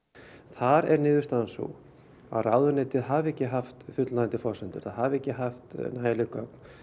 þar er niðurstaðan sú að ráðuneytið hafi ekki haft fullnægjandi forsendur það hafi ekki haft nægileg gögn